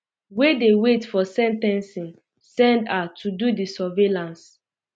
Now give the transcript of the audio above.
wey dey wait for sen ten cing send her to do um di surveillance